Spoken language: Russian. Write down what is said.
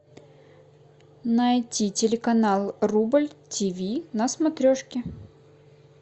найти телеканал рубль тиви на смотрешке